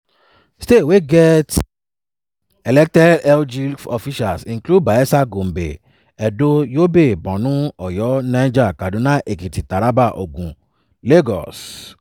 states wey get elected lg officials include bayelsa gombe edo yobe borno oyo niger kaduna ekiti taraba ogun lagos.